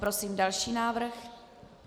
Prosím další návrh.